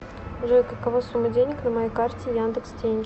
джой какова сумма денег на моей карте яндекс деньги